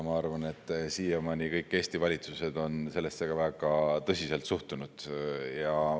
Ma arvan, et siiamaani kõik Eesti valitsused on sellesse ka väga tõsiselt suhtunud.